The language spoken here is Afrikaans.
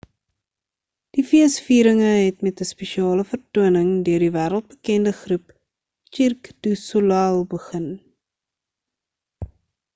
die feesvieringe het met 'n spesiale vertoning deur die wêreldbekende groep cirque du soleil begin